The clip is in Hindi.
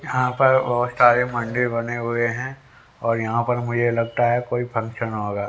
यहां पर बहोत सारे मंदिर बने हुए है और यहां पर मुझे लगता है कोई फंक्शन होगा।